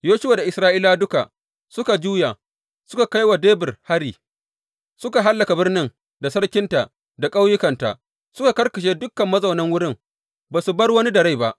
Yoshuwa da Isra’ilawa duka suka juya suka kai wa Debir hari, suka hallaka birnin, da sarkinta da ƙauyukanta, suka karkashe dukan mazaunan wurin, ba su bar wani da rai ba.